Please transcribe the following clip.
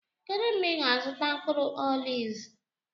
kedụ mgbe ị ga-azụta mkpụrụ oliv?